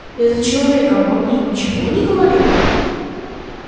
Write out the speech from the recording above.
этот человек обо мне ничего не говорил